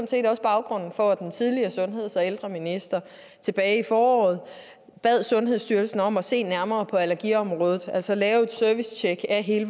set også baggrunden for at den tidligere sundheds og ældreminister tilbage i foråret bad sundhedsstyrelsen om at se nærmere på allergiområdet altså lave et servicetjek af hele